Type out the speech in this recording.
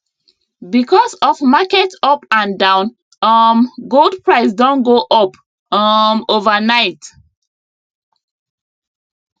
because of market up and down um gold price don go up um overnight